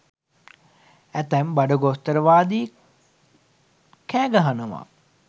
ඇතැම් බඩගෝස්තරවාදීන් කෑ ගහනව.